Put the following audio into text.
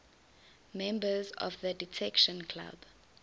members of the detection club